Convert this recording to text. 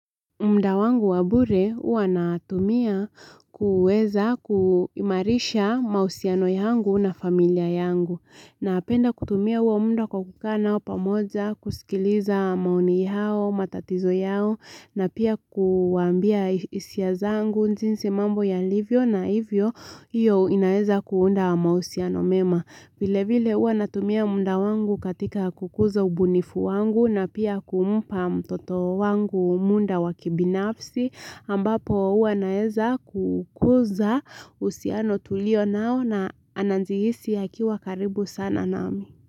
Mda wangu wabure, hua natumia kuweza kuimarisha mahusiano yangu na familia yangu. Napenda kutumia huo mda kwa kukaa nao pamoja, kusikiliza maoni yao, matatizo yao, na pia kuwaambia isia zangu, jinsi mambo yalivyo na ivyo, iyo inaeza kuunda mausiano mema. Vile vile huwa natumia muda wangu katika kukuza ubunifu wangu na pia kumpa mtoto wangu muda wa kibinafsi ambapo huwa naweza kukuza uhusiano tulio nao na anajihisi akiwa karibu sana nami.